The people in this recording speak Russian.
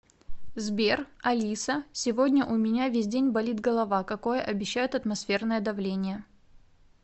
сбер алиса сегодня у меня весь день болит голова какое обещают атмосферное давление